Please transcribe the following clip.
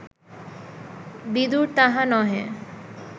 বিদুর তাহা নহে